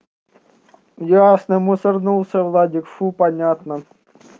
ясно мусорнулся владик фу понятно